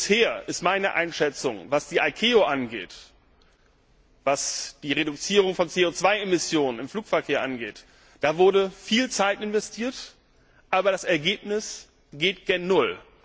Bisher ist meine Einschätzung, was die ICAO angeht, was die Reduzierung von CO 2 Emissionen im Flugverkehr angeht Da wurde viel Zeit investiert, aber das Ergebnis geht gegen null.